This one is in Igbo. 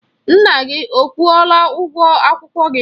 Nna gị ọ kwụọla ụgwọ akwụkwọ gị?